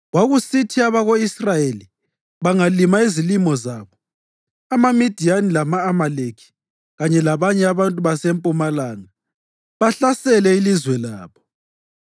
Kwakusithi abako-Israyeli bangalima izilimo zabo, amaMidiyani lama-Amaleki kanye labanye abantu basempumalanga bahlasele ilizwe labo.